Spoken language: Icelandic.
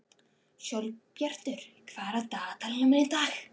Sólbjartur, hvað er á dagatalinu mínu í dag?